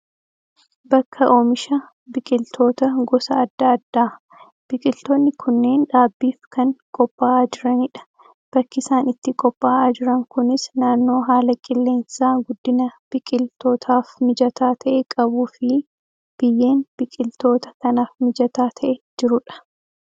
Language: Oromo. Bakka oomisha biqiltoota gosa adda addaa. Biqiltoonni kunneen dhaabbiif kan qophaa'aa jiranidha. Bakki isaan itti qophaa'aa jiran kunis naannoo haala qilleensaa guddina biqiltootaaf mijataa ta'e qabuu fi biyyeen biqiltoota kanaaf mijataa ta'e jirudha.